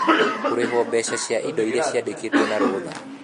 Kũrĩhwo mbeca cia indo iria ciandĩkĩtwo na rũtha.